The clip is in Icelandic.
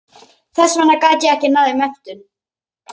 Þess vegna gat ég ekki náð í menntun.